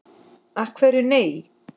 Af hverju nei?